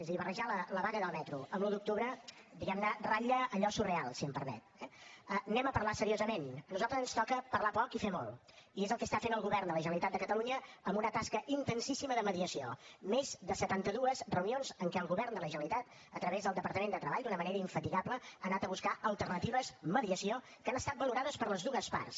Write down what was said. és a dir barrejar la vaga del metro amb l’un d’octubre diguem ne ratlla allò surreal si em permet eh anem a parlar seriosament a nosaltres ens toca parlar poc i fer molt i és el que està fent el govern de la generalitat de catalunya amb una tasca intensíssima de mediació més de setanta dues reunions en què el govern de la generalitat a través del departament de treball d’una manera infatigable ha anat a buscar alternatives mediació que han estat valorades per les dues parts